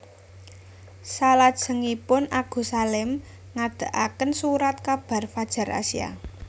Selajengipun Agus Salim ngadegaken Surat kabar Fadjar Asia